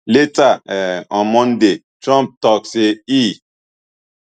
later um on monday trump tok say e